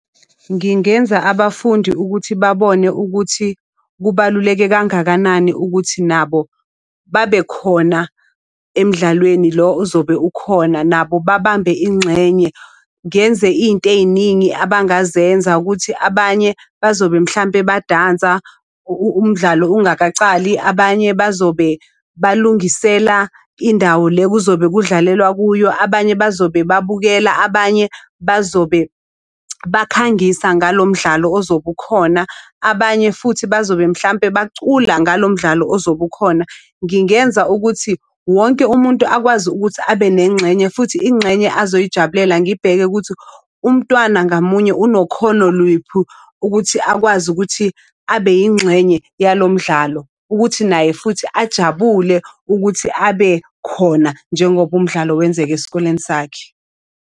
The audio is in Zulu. Ngingenza abafundi ukuthi babone ukuthi kubaluleke kangakanani ukuthi nabo babekhona emdlalweni lo ozobe ukhona, nabo babambe ingxenye. Ngenze izinto ey'ningi abangazenza ukuthi abanye bazobe mhlampe badansa umdlalo ungakacali, abanye bazobe balungisela indawo le kuzobe kudlalelwa kuyo, abanye bazobe babukela, abanye bazobe bakhangisa ngalo mdlalo ozobe ukhona. Abanye futhi bazobe mhlampe bacula ngalo mdlalo ozobe ukhona. Ngingenza ukuthi wonke umuntu akwazi ukuthi abe nengxenye futhi ingxenye azoyijabulela. Ngibheke ukuthi umntwana ngamunye unokhono lwiphu ukuthi akwazi ukuthi abe yingxenye yalo mdlalo, ukuthi naye futhi ajabule ukuthi abe khona njengoba umdlalo wenzeka esikoleni sakhe.